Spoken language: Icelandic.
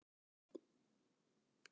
Lífeðlisfræði Vandræðalegasta augnablik?